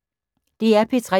DR P3